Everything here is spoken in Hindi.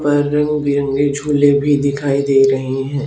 उपर रंगबिरंगे झूले भी दिखाई दे रहे हैं।